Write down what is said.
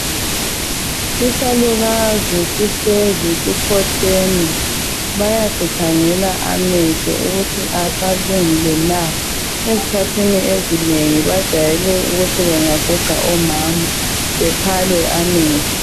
Isalukazi sihlezi sikhotheme. Bayasikhangela amehlo ukuthi asalungile na. Ezikhathini ezinengi bajayele ukuthi bangaguga omama bephalwe amehlo.